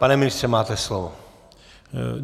Pane ministře, máte slovo.